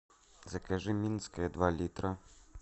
закажи минское два литра